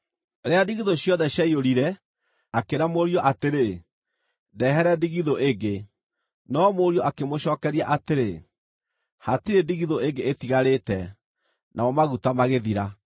Rĩrĩa ndigithũ ciothe ciaiyũrire, akĩĩra mũriũ atĩrĩ, “Ndehere ndigithũ ĩngĩ.” No mũriũ akĩmũcookeria atĩrĩ, “Hatirĩ ndigithũ ĩngĩ ĩtigarĩte.” Namo maguta magĩthira.